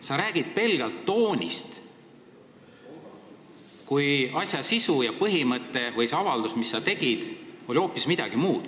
" Sa räägid pelgalt toonist, kui selle sinu tehtud avalduse sisu oli hoopis midagi muud.